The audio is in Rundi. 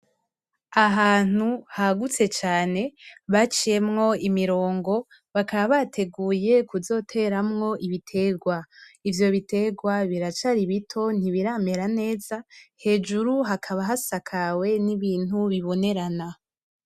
Ahantu hagutse cane baciyemwo imirongo, bakaba bateguye kuzoteramwo ibiterwa, ivyo biterwa biracari bito ntibiramera neza, hejuru hakaba hasakawe n'ibintu bibonerana.